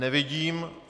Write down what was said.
Nevidím.